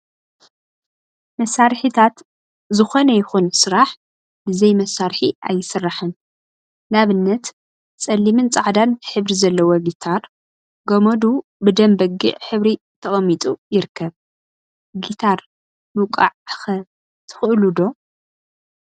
መሳርሒታት ዝኮነ ይኩን ስራሕ ብዘይ መሳርሒ አይስራሕን፡፡ ንአብነት ፀሊምን ፃዕዳን ሕብሪ ዘለዎ ጊታር ገመዱ ብደም በጊዕ ሕብሪ ተቀሚጡ ይርከብ፡፡ ጊታር ምውቃዕ ኸ ትክእሉ ዶ?